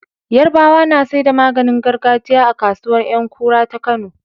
Yarabawa na saida maganin gargajiya a kasuwar Yankura ta kano